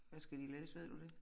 Hvad skal de læse ved du det?